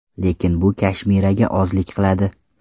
Lekin bu Kashmiraga ozlik qiladi.